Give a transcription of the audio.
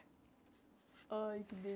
Ai, que